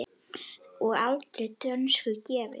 og aldrei dönskum gefin!